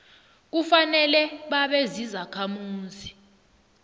kufanele babe zizakhamuzi